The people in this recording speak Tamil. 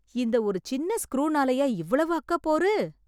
இந்த ஒரு சின்ன ஸ்குரூனாலையா இவ்வளவு அக்கப்போரு!